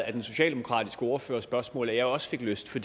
af den socialdemokratiske ordførers spørgsmål at jeg også fik lyst til